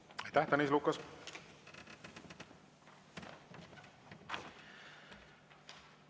Aitäh, Tõnis Lukas!